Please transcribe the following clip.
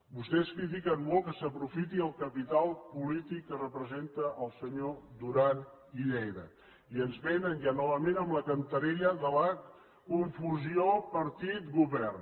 vostès critiquen molt que s’aprofiti el capital polític que representa el senyor duran i lleida i ens vénen ja novament amb la cantarella de la confusió partit govern